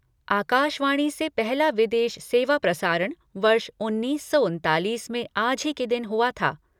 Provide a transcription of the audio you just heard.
आकाशवाणी से पहला विदेश सेवा प्रसारण वर्ष उन्नीस सौ उनतालीस में आज ही के दिन हुआ था।